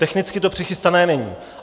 Technicky to přichystané není.